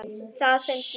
Það finnst mér.